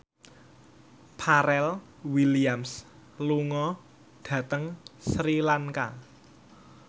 Pharrell Williams lunga dhateng Sri Lanka